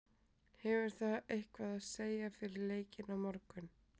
Hefur það eitthvað að segja fyrir leikinn á morgun?